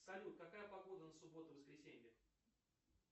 салют какая погода на субботу воскресенье